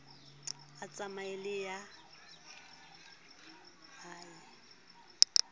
a tsamaye le a e